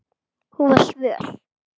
Hún var svöl.